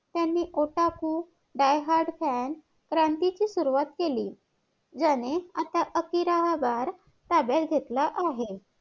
त्यांनी ओटपू die heart fan क्रांतीची सुरवात केली ज्यांनी आता आकिराहाबाद ताब्यात घेतला आहे